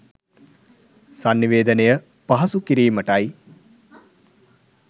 සන්නිවේදනය පහසු කිරීමටයි.